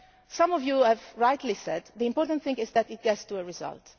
Some of you have rightly said that the important thing is that it gets results.